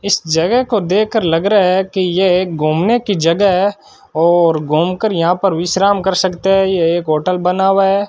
इस जगह को देख कर लग रहा है कि यह एक घूमने की जगह है और घूम कर यहां पर विश्राम कर सकते हैं यह एक होटल बना हुआ है।